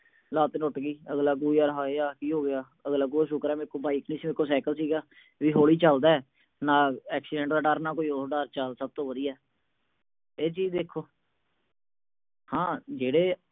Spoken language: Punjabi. ਲੱਤ ਟੁੱਟ ਗਈ, ਅਗਲਾ ਕਹੂ ਹਾਏ ਯਾਰ ਆਹ ਕੀ ਹੋ ਗਿਆ। ਅਗਲਾ ਕਹੂਗਾ ਸ਼ੁਕਰ ਆ ਮੇਰੇ ਕੋਲ ਬਾਈਕ ਨੀ ਸੀਗੀ, ਮੇਰੇ ਕੋਲ ਸਾਈਕਲ ਸੀਗਾ। ਵੀ ਹੌਲੀ ਚੱਲਦਾ, ਨਾ accident ਦਾ ਡਰ, ਨਾ ਕੋਈ ਹੋਰ। ਚਲ ਸਭ ਤੋਂ ਵਧੀਆ। ਇਹ ਚੀਜ ਦੇਖੋ। ਹਾਂ ਜਿਹੜੇ